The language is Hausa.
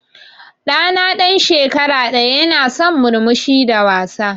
Ɗa na ɗan shekara ɗaya ya na son murmushi da wasa.